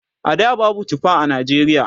a da babu tufa a Najeriya